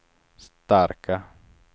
starka